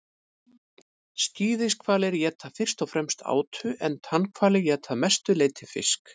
skíðishvalir éta fyrst og fremst átu en tannhvalir éta að mestu leyti fisk